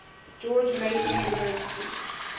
george mason university